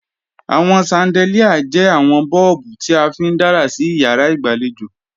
Àwọn ṣandelíà jẹ́ àwọn bọ́ọ̀bù tí a fi ń dára sí ìyàrá ìgbàlejò